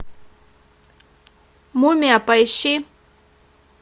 мумия поищи